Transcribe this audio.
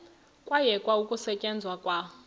kwayekwa ukusetyenzwa kwa